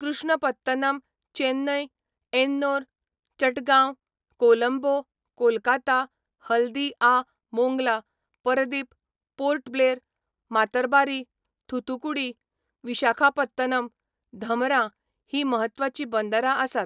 Krishnapatnam, Chennai, Ennore, Chittagong, Colombo, Kolkata, Haldia, Mongla, Paradip, Port Blair, Matarbari, Thoothukudi, Visakhapatnam, Dhamra हीं म्हत्वाचीं बंदरां आसात.